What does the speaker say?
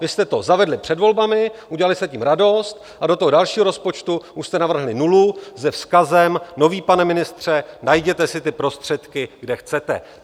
Vy jste to zavedli před volbami, udělali jste tím radost, a do toho dalšího rozpočtu už jste navrhli nulu se vzkazem: Nový pane ministře, najděte si ty prostředky, kde chcete.